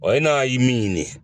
e n'a ye min ɲini